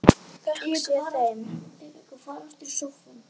Þökk sé þeim.